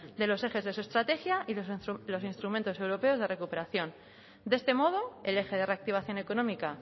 de los ejes de su estrategia y de los instrumentos europeos de recuperación de este modo el eje de reactivación económica